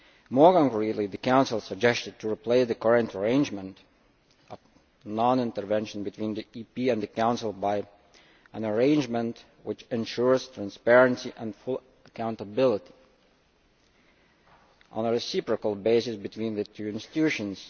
More concretely, the Council suggested replacing the current arrangement of non intervention between Parliament and the Council with an arrangement which ensures transparency and full accountability on a reciprocal basis between the two institutions.